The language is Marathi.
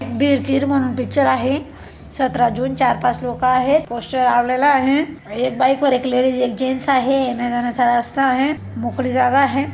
भिरकीर म्हणून पिक्चर आहे. सतरा जून चार पाच लोकं आहेत. पोस्टर आलेला आहे. एक बाईक और एक लेडीज एक जेन्ट्स आहे येनाऱ्या जाणाऱ्याचा रस्ता आहे. मोकळी जागा आहे.